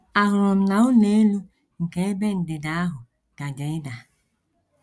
Ahụrụ m na ụlọ elu nke ebe ndịda ahụ gaje ịda.